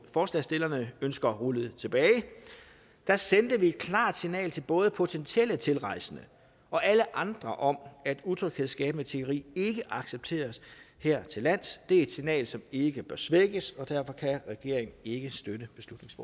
forslagsstillerne ønsker rullet tilbage sendte vi et klart signal til både potentielle tilrejsende og alle andre om at utryghedsskabende tiggeri ikke accepteres hertillands det er et signal som ikke bør svækkes og derfor kan regeringen ikke støtte